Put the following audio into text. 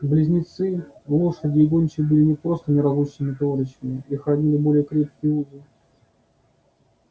близнецы лошади и гончие были не просто неразлучными товарищами их роднили более крепкие узы